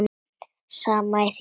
Saman í hring